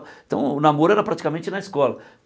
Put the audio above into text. Então o namoro era praticamente na escola.